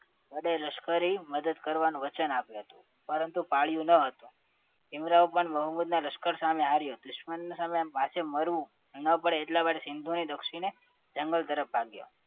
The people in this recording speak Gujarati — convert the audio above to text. વડે લશ્કરી મદદ કરવાનું વચન આપ્યું હતું પરંતુ પાડ્યું ન હતું ભીમરાવ પણ મોહમ્મદ ના લશ્કર સામે હાર્યું દુશ્મનના સામે માથે મરવું ન પડે એટલે માટે સિંધુ નદીના દક્ષિણ જંગલ તરફ ભાગ્યા